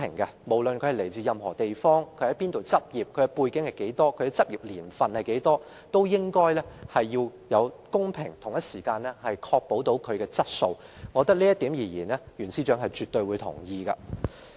換言之，不論申請人來自何地、在何處執業、有何背景及執業年期是多少，律師會不但會公平處理，也要確保質素，而我想這也是袁司長絕對同意的。